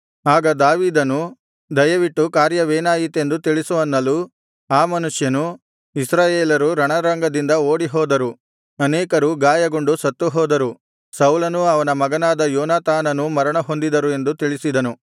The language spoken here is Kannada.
ಆಗ ದಾವೀದನು ದಯವಿಟ್ಟು ಕಾರ್ಯವೇನಾಯಿತೆಂದು ತಿಳಿಸು ಅನ್ನಲು ಆ ಮನುಷ್ಯನು ಇಸ್ರಾಯೇಲರು ರಣರಂಗದಿಂದ ಓಡಿಹೋದರು ಅನೇಕರು ಗಾಯಗೊಂಡು ಸತ್ತುಹೋದರು ಸೌಲನೂ ಅವನ ಮಗನಾದ ಯೋನಾತಾನನೂ ಮರಣಹೊಂದಿದರು ಎಂದು ತಿಳಿಸಿದನು